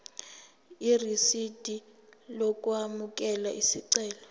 irisidi lokwamukela isicelo